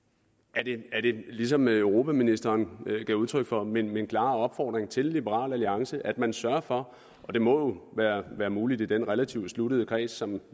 er det ligesom europaministeren gav udtryk for min min klare opfordring til liberal alliance at man sørger for og det må være muligt i den relativt sluttede kreds som